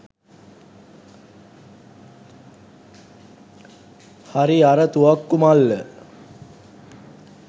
හරි අර තුවක්කු මල්ල